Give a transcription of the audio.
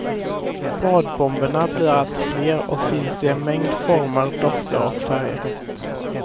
Badbomberna blir allt fler och finns i en mängd former, dofter och färger.